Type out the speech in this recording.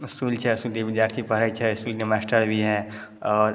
विद्यार्थी पढ़े छै और मास्टर भी है और ----